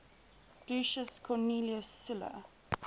lucius cornelius sulla